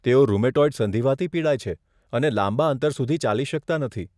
તેઓ રુમેટોઇડ સંધિવાથી પીડાય છે અને લાંબા અંતર સુધી ચાલી શકતાં નથી.